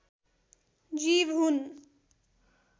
जीव हुन्